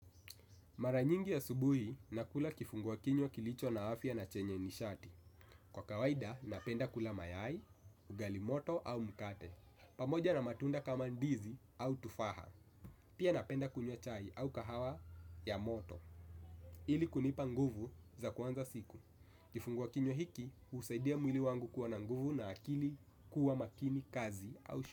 Mara nyingi asubuhi, nakula kifungua kinywa kilicho na afya na chenye nishati. Kwa kawaida, napenda kula mayai, ugali moto au mkate. Pamoja na matunda kama ndizi au tufaha. Pia napenda kunywa chai au kahawa ya moto. Ili kunipa nguvu za kuanza siku. Kifungua kinywa hiki, husaidia mwili wangu kuwa na nguvu na akili kuwa makini kazi au shu.